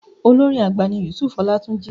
Olórin àgbà ni Yusuf Ọlátúnjí.